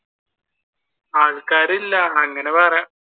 ആൾക്കാറില്ല അങ്ങനെ പറയാം.